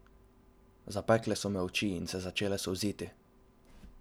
Zapekle so me oči in se začele solziti.